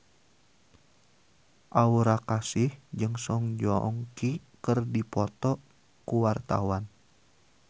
Aura Kasih jeung Song Joong Ki keur dipoto ku wartawan